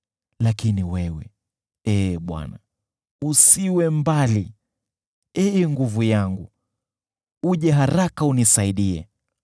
Lakini wewe, Ee Bwana , usiwe mbali. Ee Nguvu yangu, uje haraka unisaidie.